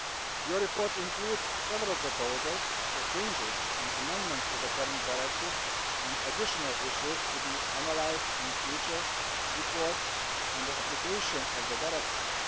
Your report includes several proposals for changes and amendments to the current directive and additional issues to be analysed in future reports on the application of the directive.